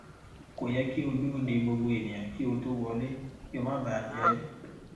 kò yẹ kí o dúró de gbogbo ènìyàn kí o tó wọlé kí o má bà jé